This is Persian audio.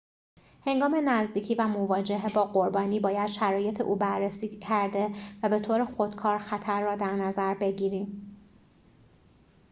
هنگام نزدیکی و مواجهه با قربانی باید شرایط او بررسی کرده و به‌طور خودکار خطر را در نظر بگیریم